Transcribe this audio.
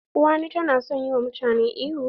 Uwani ta na son yi wa mutane ihu.